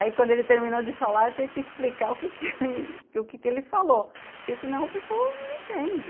Aí quando ele terminou de falar tinha que explicar o que ele falou, porque senão o pessoal não entende.